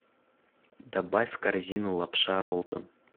добавь в корзину лапша роллтон